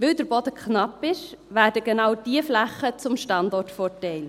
Weil der Boden knapp ist, werden genau diese Flächen zum Standortvorteil.